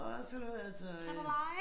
Og sådan noget altså øh